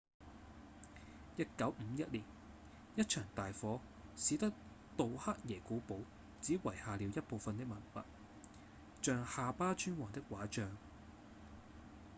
1951年一場大火使得杜克耶古堡只遺下了一部份的文物像夏巴尊王的畫像